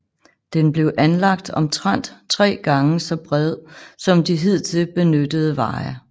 Den blev anlagt omtrent 3 gange så bred som de hidtil benyttede veje